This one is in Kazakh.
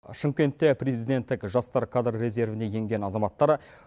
шымкентте президенттік жастар кадр резервіне енген азаматтар